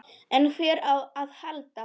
En hvert á að halda?